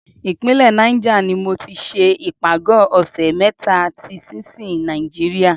Ìpínlẹ̀ Niger ni mo ti ṣe ìpàgọ́ ọ̀ṣẹ̀ mẹ́ta ti sinsin Nàìjíríà.